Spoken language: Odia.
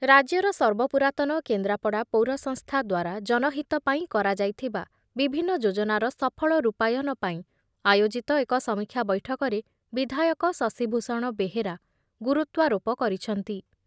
ରାଜ୍ୟର ସର୍ବ ପୁରାତନ କେନ୍ଦ୍ରାପଡ଼ା ପୌର ସଂସ୍ଥା ଦ୍ବାରା ଜନହିତ ପାଇଁ କରାଯାଇଥିବା ବିଭିନ୍ନ ଯୋଜନାର ସଫଳ ରୂପାୟନ ପାଇଁ ଆୟୋଜିତ ଏକ ସମୀକ୍ଷା ବୈଠକରେ ବିଧାୟକ ଶଶୀଭୂଷଣ ବେହେରା ଗୁରୁତ୍ୱାରୋପ କରିଛନ୍ତି ।